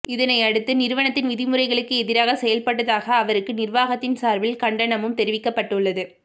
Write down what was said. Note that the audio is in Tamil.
இதனையடுத்து நிறுவனத்தின் விதிமுறைகளுக்கு எதிராக செயல்பட்டதாக அவருக்கு நிர்வாகத்தின் சார்பில் கண்டனமும் தெரிவிக்கப்பட்டுள்ளது